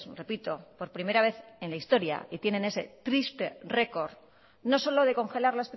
repito por primera vez en la historia y tienen ese triste récord no solo de congelar